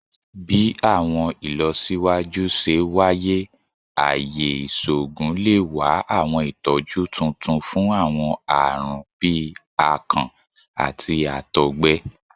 Bi awọn ilọsiwaju ṣe waye, aaye iṣoogun le wa awọn itọju tuntun fun awọn aarun bii akàn ati àtọgbẹ